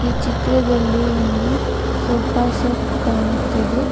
ಈ ಚಿತ್ರದಲ್ಲಿ ಒಂದು ಸೋಫಾ ಸೆಟ್ ಕಾಣುತ್ತಿದೆ.